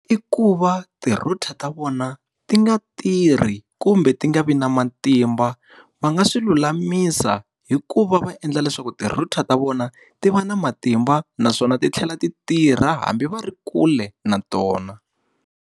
I ku va ti-router ta vona ti nga tirhi kumbe ti nga vi na matimba. Va nga swi lulamisa hi ku va va endla leswaku ti-router ta vona ti va na matimba naswona ti tlhela ti tirha hambi va ri kule na tona.